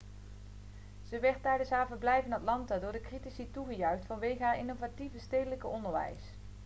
ze werd tijdens haar verblijf in atlanta door de critici toegejuicht vanwege haar innovatieve stedelijk onderwijs